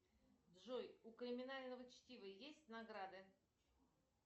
джой у криминального чтива есть награды